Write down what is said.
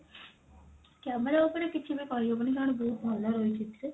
camera ଉପରେ କିଛି ବି କହିହବନି କାରଣ ବହୁତ ଭଲ ରହିଛି ଏଥିରେ